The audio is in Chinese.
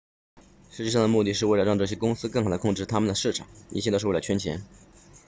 实际上的目的是为了让这些公司更好地控制他们的市场一切都是为了圈钱